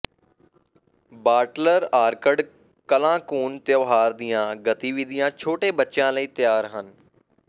ਬਾਟਲਰ orchard ਕਲਾਂਕੁੰਨ ਤਿਉਹਾਰ ਦੀਆਂ ਗਤੀਵਿਧੀਆਂ ਛੋਟੇ ਬੱਚਿਆਂ ਲਈ ਤਿਆਰ ਹਨ